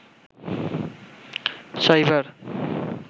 cyber